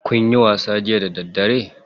Kunyi wasa jiya da daddare?